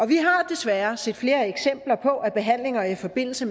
vi har desværre set flere eksempler på at behandlinger i forbindelse